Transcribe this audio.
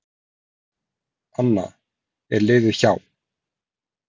Anna: Er liðið hjá.